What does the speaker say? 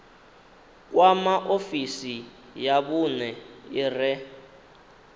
kwama ofisi ya vhune ire